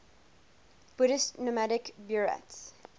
buddhist nomadic buryats